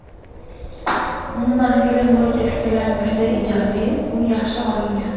Umuman, film bo‘yicha fikrlarim juda ijobiy, u yaxshi olingan.